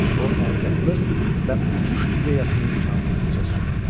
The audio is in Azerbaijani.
O azadlıq və uçuş ideyasının kamil təcəssümüdür.